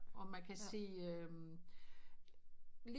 Og man kan sige øh lige